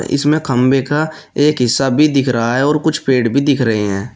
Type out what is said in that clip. इसमें खंभे का एक हिस्सा भी दिख रहा है और कुछ पेड़ भी दिख रहे हैं।